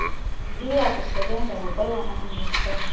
liyakusebenza ngokweyona mimiselo